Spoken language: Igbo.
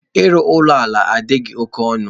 Ịrụ ụlọ ala adịghị oke ọnụ.